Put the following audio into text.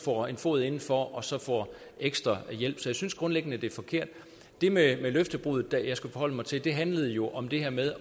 får en fod indenfor og så får ekstra hjælp så jeg synes grundlæggende det er forkert det med løftebruddet jeg skal forholde mig til handlede jo om det her med